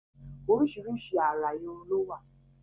Oríṣiríṣi àrà irun lówà.